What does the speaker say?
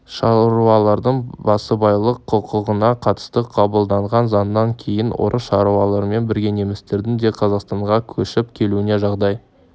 шаруалардың басыбайлық құқығына қатысты қабылданған заңнан кейін орыс шаруаларымен бірге немістердің де қазақстанға көшіп келуіне жағдай